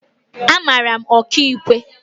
Amara m Ọkaiwu